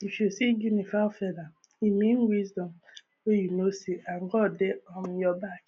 if you see guinea fowl feather e mean wisdom wey you no see and and god dey um your back